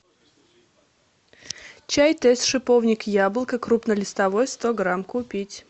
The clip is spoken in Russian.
чай тесс шиповник яблоко крупнолистовой сто грамм купить